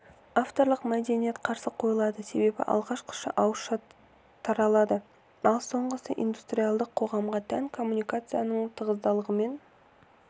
авторлық мәдениет қарсы қойылады себебі алғашқысы ауызша таратылады ал соңғысы индустриалдық қоғамға тән коммуникацияның тығыздылығымен